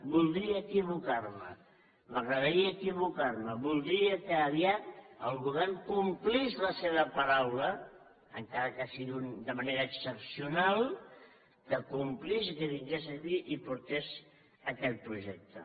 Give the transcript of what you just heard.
voldria equivocar me m’agradaria equivocar me voldria que aviat el govern complís la seva paraula encara que sigui de manera excepcional que complís i que vingués aquí i portés aquest projecte